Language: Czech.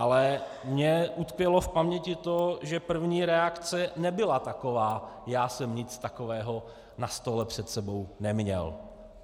Ale mně utkvělo v paměti to, že první reakce nebyla taková - já jsem nic takového na stole před sebou neměl.